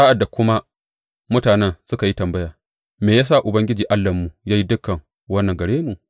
Sa’ad da kuma mutanen suka yi tambaya, Me ya sa Ubangiji Allahnmu ya yi dukan wannan gare mu?’